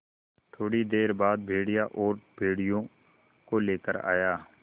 थोड़ी देर बाद भेड़िया और भेड़ियों को लेकर आया